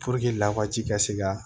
lawaji ka se ka